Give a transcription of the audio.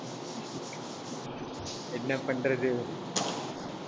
என்ன பண்றது?